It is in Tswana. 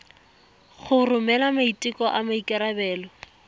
go romela maiteko a maikarebelo